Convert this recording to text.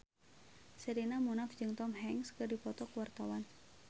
Sherina Munaf jeung Tom Hanks keur dipoto ku wartawan